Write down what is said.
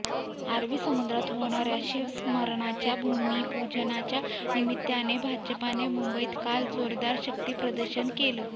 अरबी समुद्रात होणाऱ्या शिवस्मारकाच्या भूमिपूजनाच्या निमित्ताने भाजपने मुंबईत काल जोरदार शक्तीप्रदर्शन केलं